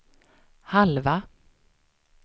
halva